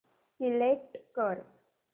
select कर